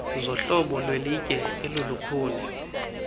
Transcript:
zohlobo lwelitye elilukhuni